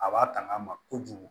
A b'a tanga ma kojugu